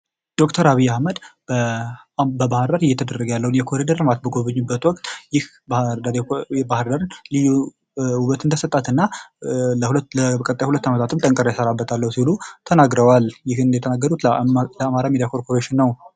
ዶክተር አብይ አህመድ በባህርዳር እየተደረገ ያለውን የኮሪደር ልማት በሚጐበኙበት ወቅት ይህ ለባህርዳር ውበት እንደሰጣትና ለሁለት ዓመታትም ጠንክሬ እንሰራበታለን ሲሉ ተናግረዋል ። ይህን የተናገሩት ለአማራ ሚዲያ ኮርፖሬሽን ነው ።